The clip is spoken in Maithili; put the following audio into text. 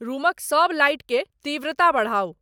रुमक सब लाइट के तीव्रता बढ़ाऊं